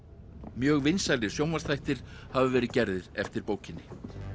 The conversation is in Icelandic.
mjög vinsælir sjónvarpsþættir hafa verið gerðir eftir bókinni